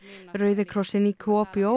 rauði krossinn í